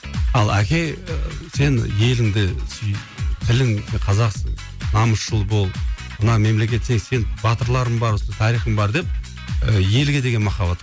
ал әке сен еліңді сүй тілің қазақсың намысшыл бол мына мемлекетте сен батырларың бар тарихың бар деп ы елге деген махаббат